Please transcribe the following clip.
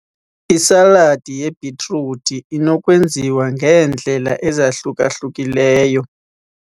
Isaladi yebhitruthi inokwenziwa ngeendlela ezahluka-hlukileyo.